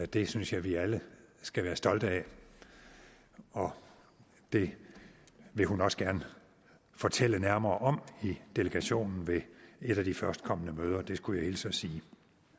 det synes jeg vi alle skal være stolte af og det vil hun også gerne fortælle nærmere om i delegationen ved et af de førstkommende møder det skulle jeg hilse at sige